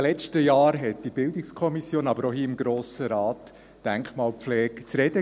In den letzten Jahren gab die Denkmalpflege in der BiK, aber auch hier im Grossen Rat, zu reden.